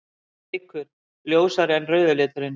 Bleikur: Ljósari en rauði liturinn.